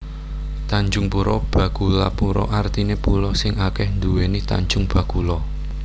Tanjungpura Bakulapura artiné pulo sing akèh nduwèni tanjung bakula